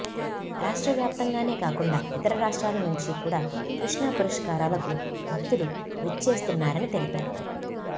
రాష్ట్ట్ర వ్యాప్తంగానే కాకుండా ఇతర రాష్ట్రాల నుంచి కూడ కృష్ణా పుష్కరాలకు భక్తులు విచ్చేస్తున్నారని తెలిపారు